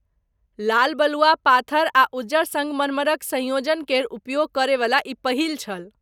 लाल बलुआ पाथर आर उज्जर संगमरमरक संयोजन केर उपयोग करैवला ई पहिल छल।